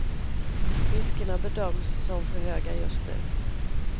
Riskerna bedöms som för höga just nu.